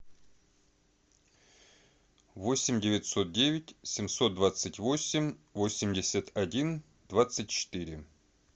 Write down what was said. восемь девятьсот девять семьсот двадцать восемь восемьдесят один двадцать четыре